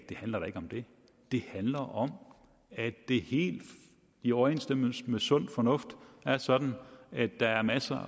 det handler da ikke om det det handler om at det helt i overensstemmelse med sund fornuft er sådan at der er masser